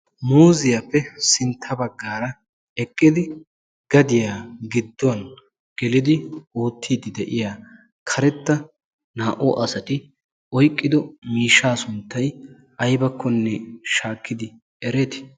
muuziyaappe sintta baggaara eqqidi gadiyaa gidduwan gelidi oottiiddi de'iya karetta naa"u asati oyqqido miishshaa sunttay aybakkonne shaakkidi ereetii?